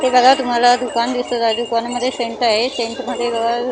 हे बघा तुम्हाला दुकान दिसत आहे दुकान मध्ये सेंट आहे सेंट मध्ये --